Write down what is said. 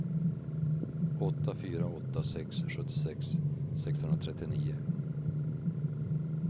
åtta fyra åtta sex sjuttiosex sexhundratrettionio